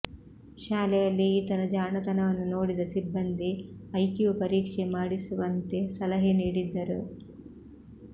ಶಾಲೆಯಲ್ಲಿ ಈತನ ಜಾಣತನವನ್ನು ನೋಡಿದ ಸಿಬ್ಬಂದಿ ಐಕ್ಯೂ ಪರೀಕ್ಷೆ ಮಾಡಿಸುವಂತೆ ಸಲಹೆ ನೀಡಿದ್ದರು